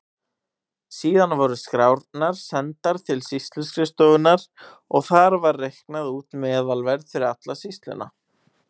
Síðan voru skrárnar sendar til sýsluskrifstofunnar og þar var reiknað út meðalverð fyrir alla sýsluna.